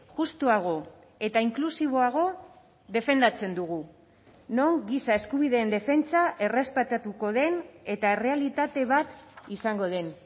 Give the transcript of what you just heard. justuago eta inklusiboago defendatzen dugu non giza eskubideen defentsa errespetatuko den eta errealitate bat izango den